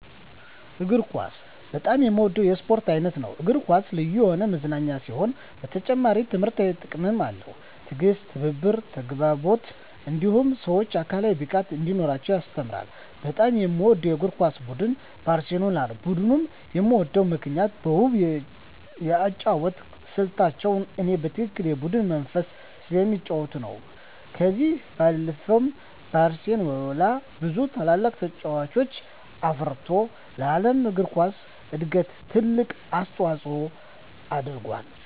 እግር ኳስ በጣም የምወደው የስፖርት አይነት ነው። እግር ኳስ ልዩ የሆነ መዝናኛ ሲሆን በተጨማሪም ትምህርታዊ ጥቅምም አለው። ትዕግስትን፣ ትብብርን፣ ተግባቦትን እንዲሁም ሰወች አካላዊ ብቃት እንዲኖራቸው ያስተምራል። በጣም የምወደው የእግር ኳስ ቡድን ባርሴሎናን ነው። ቡድኑን የምወድበት ምክንያት በውብ የአጨዋወት ስልታቸው እኔ በትክክለኛ የቡድን መንፈስ ስለሚጫወቱ ነው። ከዚህ ባለፈም ባርሴሎና ብዙ ታላላቅ ተጫዋቾችን አፍርቶ ለዓለም እግር ኳስ እድገት ትልቅ አስተዋፅኦ አድርጎአል።